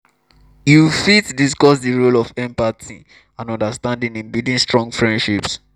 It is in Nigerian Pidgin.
yu fit discuss di role of empathy and understanding in building strong freindships.